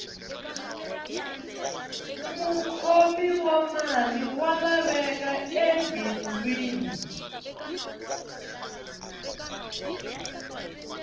mukhomi wa mali wa laveka ebindzwini